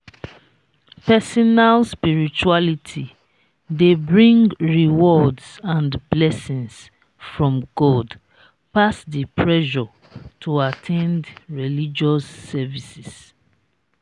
personal spirituality de bring rewards and blessings from god pass di pressure to at ten d religious services